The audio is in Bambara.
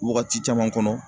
Wagati caman kɔnɔ